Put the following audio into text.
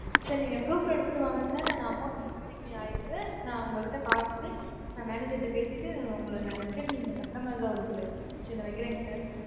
sir நீங்க proof எடுத்துட்டு வாங்க sir நானு amount டு missing ஆயிருக்கு. நான் உங்க கிட்ட பார்த்துட்டு, நான் manager ட பேசிட்டு, உங்களை நான் return நீங்கக் கட்டுற மாதிரிதான் வரும் sir. சரி நான் வைக்கிறேங்க sir.